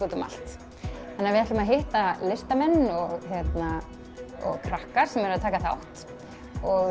úti um allt þannig að við ætlum að hitta listamenn og krakka sem taka þátt og